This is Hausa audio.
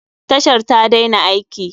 Tashar ta daina aiki.